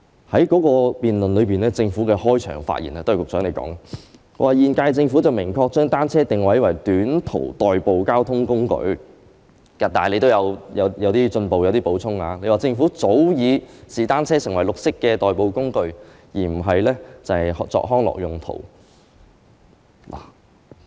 在該次辯論中，政府的開場發言——都是局長你發言的——指"現屆政府明確把單車定位為短途代步交通工具"，你亦有進一步作出少許補充，說"政府早已視單車為綠色代步工具，而非只用作康樂用途"。